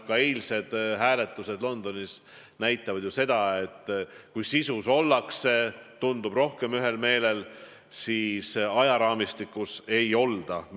Eilsed hääletused Londonis näitasid seda, et kui sisu osas ollakse – tundub nii – rohkem ühel meelel, siis ajaraamistiku osas ei olda.